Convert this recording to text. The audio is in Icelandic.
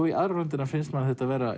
í aðra röndina finnst manni þetta vera